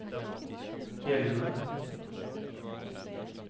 gjeldende